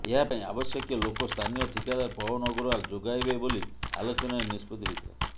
ଏହା ପାଇଁ ଆବଶ୍ୟକୀୟ ଲୋକ ସ୍ଥାନୀୟ ଠିକାଦାର ପୱନ ଅଗ୍ରୱାଲ ଯୋଗାଇବେ ବୋଲି ଆଲୋଚନାରେ ନିଷ୍ପତି ହୋଇଥିଲା